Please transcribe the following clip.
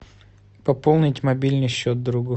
пополнить мобильный счет другу